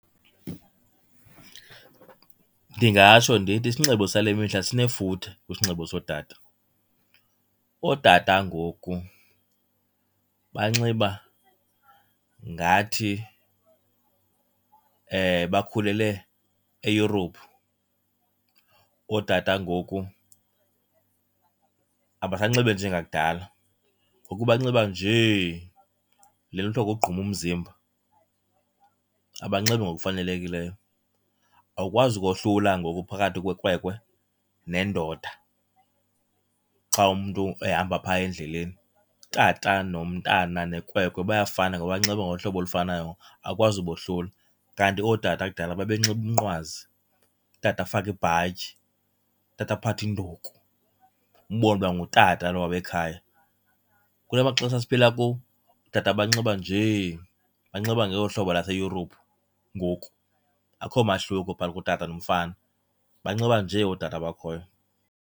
Ndingatsho ndithi isinxibo sale mihla sinefuthe kwisinxibo sootata. Ootata ngoku banxiba ngathi bakhulele e-Europe. Ootata ngoku abasanxibi njengakudala. Ngoku banxiba nje, le nto kuthiwa kukugquma umzimba, abanxibi ngokufanelekileyo. Awukwazi kohlula ngoku phakathi kwekwekwe nendoda xa umntu ehamba phaa endleleni. Utata nomntana, nekwekwe bayafana ngoba banxiba ngohlobo olufanayo, awukwazi ubohlula. Kanti ootata kudala babenxiba umnqwazi, utata afake ibhatyi, utata aphathe induku, umbone uba ngutata lowa wekhaya. Kula maxesha siphila kuwo, otata banxiba nje, banxiba ngolo hlobo lwase-Europe ngoku, akho mahluko phakathi kotata nomfana. Banxiba nje otata abakhoyo.